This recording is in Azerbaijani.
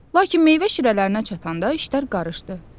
Lakin meyvə şirələrinə çatanda işlər qarışdı.